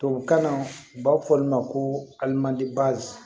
Tubabukan na u b'a fɔ olu ma ko alimandi